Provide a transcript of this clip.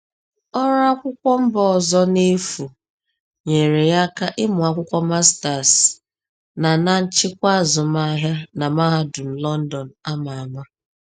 Ọrụ akwụkwọ mba ọzọ n’efu nyere ya aka ịmụ akwụkwọ master’s na na nchịkwa azụmahịa na mahadum London a ma ama.